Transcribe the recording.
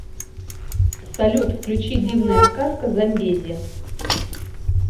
салют включи дивная сказка замбези